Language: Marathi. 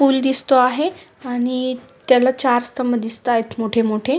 पूल दिसतो आहे त्याला चार स्तंभ दिसतायत मोठे मोठे.